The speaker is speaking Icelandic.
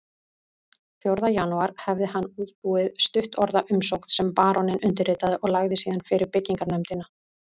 Fjórða janúar hafði hann útbúið stuttorða umsókn sem baróninn undirritaði og lagði síðan fyrir byggingarnefndina